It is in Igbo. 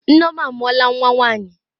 Nneoma amuola nwa nwanyi.